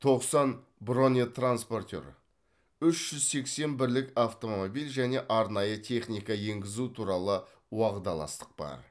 тоқсан бронетранспортер үш жүз сексен бірлік автомобиль және арнайы техника енгізу туралы уағдаластық бар